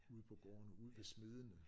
Ude på gårdene ude ved smedene